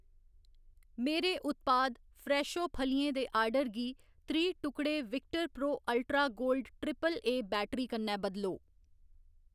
मेरे उत्पाद फ्रैशो फलियें दे आर्डर गी त्रीह्‌ टुकड़े victor pro ultra gold AAA battery कन्नै बदलो